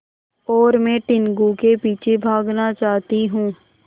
और मैं टीनगु के पीछे भागना चाहती हूँ